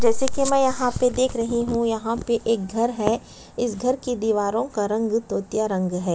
जैसे की मै यहाँ पे देख रही हूँ यहाँ पे एक घर है इस घरो की दीवारों का रंग भी तोतिया रंग है ।